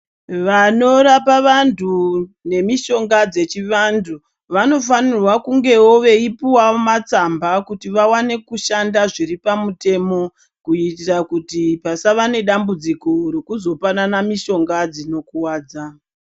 Vanorapa vanhu nemishonga dzechivanhu vanofanirwa kungewo veipuwawo matsamba kuti vawane kushanda zviri pamutemo kuitira kuti pasava nedambudziko rekuzopanana mishonga dzinokuvadza.